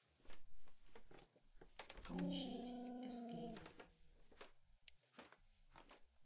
включить эскейп